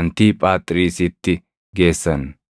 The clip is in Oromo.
Antiiphaaxriisitti geessan.